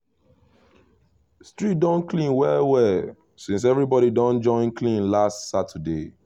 street don clean well well since everybody don join clean last saturday